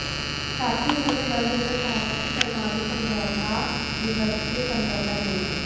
साथ ही उन्होंने बल देकर कहा था कि परमाणु समझौता द्विपक्षीय समझौता नहीं है